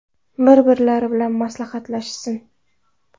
Bir-birlari bilan maslahatlashsin.